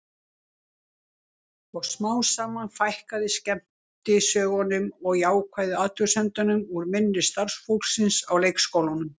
Og smám saman fækkaði skemmtisögunum og jákvæðu athugasemdunum úr munni starfsfólksins á leikskólanum.